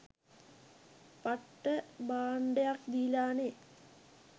පට්ට බාණ්ඩයක් දීලානෙ